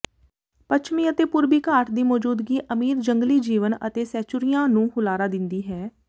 ਪੱਛਮੀ ਅਤੇ ਪੂਰਬੀ ਘਾਟ ਦੀ ਮੌਜੂਦਗੀ ਅਮੀਰ ਜੰਗਲੀ ਜੀਵਣ ਅਤੇ ਸੈਚੂਰੀਆਂ ਨੂੰ ਹੁਲਾਰਾ ਦਿੰਦੀ ਹੈ